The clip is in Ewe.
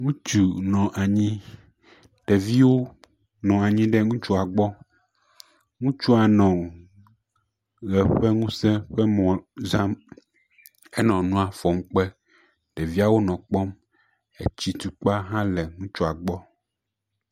Ŋutsu nɔ anyi, ɖeviwo nɔ anyi ɖe ŋutsua gbɔ, ŋutsua nɔ ʋe ƒe ŋusẽ ƒe mɔ zãm, enɔ nua fɔm kpe, ɖeviawo nɔ kpɔm.